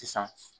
Sisan